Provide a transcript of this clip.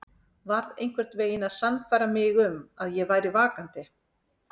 Varð einhvern veginn að sannfæra mig um að ég væri vakandi.